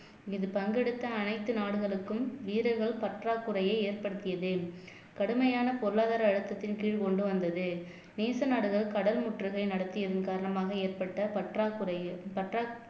இதில் பங்கெடுத்த அனைத்து நாடுகளுக்கும் வீரர்கள் பற்றாக்குறையை ஏற்படுத்தியது கடுமையான பொருளாதார அழுத்தத்தின் கீழ் கொண்டு வந்தது நேச நாடுகள் கடல் முற்றுகை நடத்தியதன் காரணமாக ஏற்பட்ட பற்றாக்குறை பற்றாக்